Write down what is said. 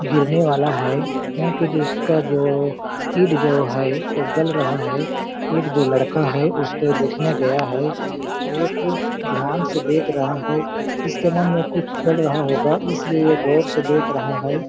गिरने वाला है क्यूंकि जिसका जो ईट जो है वो गल रहा है एक जो लड़का है उसको देखने गया है ऐ कुछ ध्यान से देख रहा है इसके मन में कुछ चल रहा होगा इसलिए ये गौर से देखा रहा है।